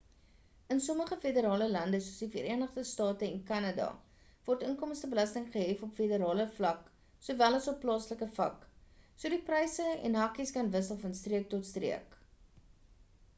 in sommige federale lande soos die verenigde state en kanada word inkomstebelasting gehef op federale vlak sowel as op plaaslike vlak so die pryse en hakies kan wissel van streek tot streek